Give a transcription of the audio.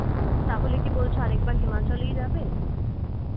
তাহলে কি বলছো আর একবার হিমাচলই যাবে?